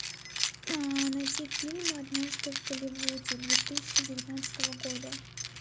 найти фильм однажды в голливуде две тысячи девятнадцатого года